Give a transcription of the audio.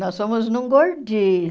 Nós fomos num gordinho.